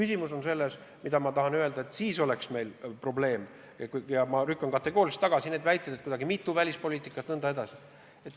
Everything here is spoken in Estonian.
Ma lükkan kategooriliselt tagasi need väited, et Eestil on kuidagi nagu mitu välispoliitikat.